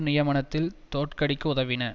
நியமனத்தில் தோற்கடிக்க உதவின